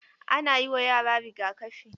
Ana yi wa yara riga-kafi.